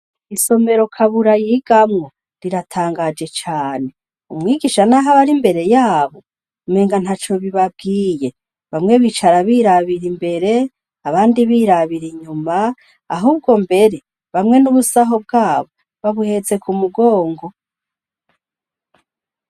Isomero kabura yigamwo riratangaje cane umwigisha, naho abari imbere yabo menga nta co bibabwiye bamwe bicara birabira imbere abandi birabira inyuma ahubwo mbere bamwe n'ubusaho bwabo babuheze ku mugongo.